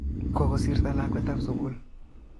Kokosirto lakwet ab sukul